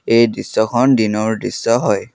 এই দৃশ্যখন দিনৰ দৃশ্য হয়।